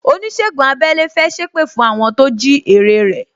Onisegun abẹ́lẹ́ fẹ́ sépè fún àwọn tó jí ère rẹ